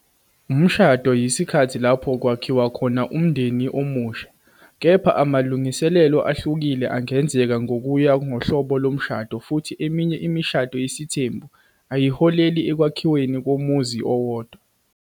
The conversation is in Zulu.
Umshado yisikhathi lapho kwakhiwa khona umndeni omusha, kepha amalungiselelo ahlukile angenzeka ngokuya ngohlobo lomshado futhi eminye imishado yesithembu ayiholeli ekwakhiweni komuzi owodwa.